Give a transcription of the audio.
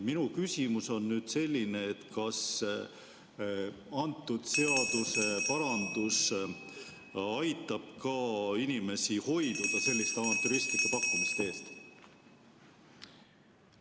Minu küsimus on selline: kas see seaduseparandus aitab ka hoida inimesi selliste avantüristlike pakkumiste eest?